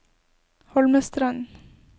Holmestrand